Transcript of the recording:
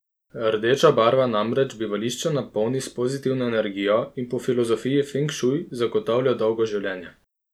Rdeča barva namreč bivališče napolni s pozitivno energijo in po filozofiji feng šuj zagotavlja dolgo življenje.